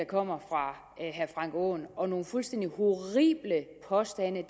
kommer fra herre frank aaen og nogle fuldstændig horrible påstande